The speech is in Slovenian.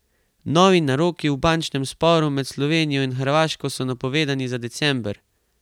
Novi naroki v bančnem sporu med Slovenijo in Hrvaško so napovedani za december!